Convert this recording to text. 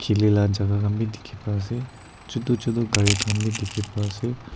khili la jaka khan bi dikhi pai ase chutu chutu gari khan bi dikhi pai ase.